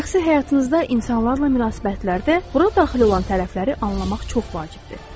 Şəxsi həyatınızda insanlarla münasibətlərdə bura daxil olan tərəfləri anlamaq çox vacibdir.